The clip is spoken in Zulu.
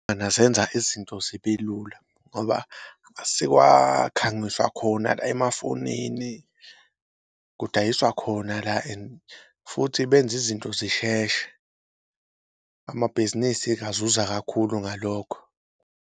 Engazenza izinto zibelula ngoba sekwakhangiswa khona la emafonini, kudayiswa khona la and futhi benza izinto zisheshe, amabhizinisi engazuza kakhulu ngalokho.